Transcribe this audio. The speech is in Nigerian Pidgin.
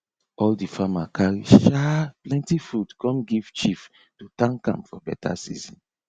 all the farmer carry um plenty food come give chief to thank am for better season